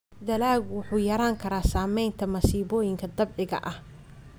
Dalaggu wuxuu yarayn karaa saamaynta masiibooyinka dabiiciga ah.